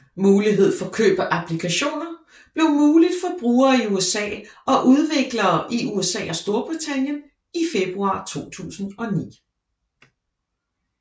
Mulighed for køb af applikationer blev muligt for brugere i USA og udviklere i USA og Storbritannien i februar 2009